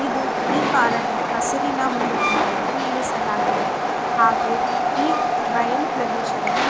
ಇದು ಈ ಕಾರನ್ನು ಹಸಿರಿನ ಹುಲ್ಲಿನ ಮೇಲೆ ನಿಲ್ಲಿಸಿಲಾಗಿದೆ ಹಾಗು ಈ ಬಯಲು ಪ್ರದೇಶದಲ್ಲಿ--